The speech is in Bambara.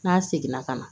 N'a seginna ka na